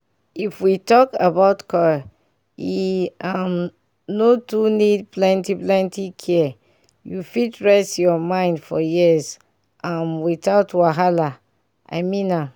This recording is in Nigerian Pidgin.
if we talk about coil e um no too need plenty plenty care u fit rest ur mind for years um without wahala i mean am